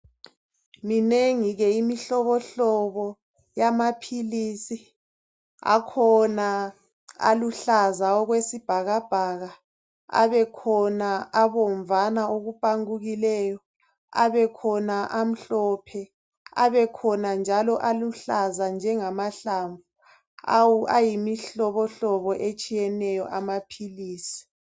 Minengi ke imihlobo hlobo yamaphilisi, akhona aluhlaza okwesibhakabhaka, abekhona abomvana okupangukileyo, abekhona amhlophe, abekhona njalo aluhlaza njengahlamvu. Ayimihlobo hlobo etshiyeneyo amaphilisi.